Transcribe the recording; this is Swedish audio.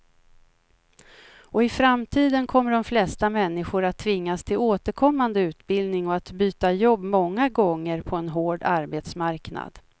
Och i framtiden kommer de flesta människor att tvingas till återkommande utbildning och att byta jobb många gånger på en hård arbetsmarknad.